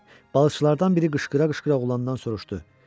Balıqçılardan biri qışqıra-qışqıra oğlandan soruşdu: